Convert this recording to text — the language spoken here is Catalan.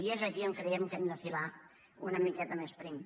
i és aquí on creiem que hem de filar una miqueta més prim